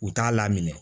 U t'a laminɛ